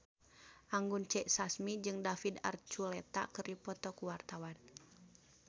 Anggun C. Sasmi jeung David Archuletta keur dipoto ku wartawan